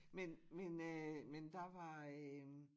Men men øh men der var øh